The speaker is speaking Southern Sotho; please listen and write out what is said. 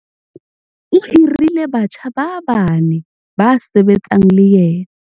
O hirile batjha ba bane ba sebetsang le yena.